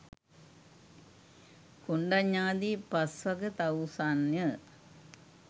කොණ්ඩඤ්ඤ ආදී පස්වග තවුසන්ය.